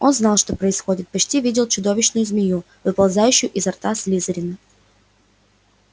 он знал что происходит почти видел чудовищную змею выползающую изо рта слизерина